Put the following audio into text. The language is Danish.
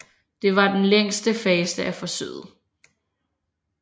Det var den længste fase af forsøget